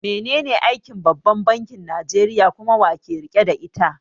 Menene aikin babban bankin Nijeriya kuma, wa yake riƙe da ita?